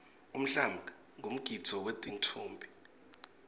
umhlanga ngumgidvo wetinffombi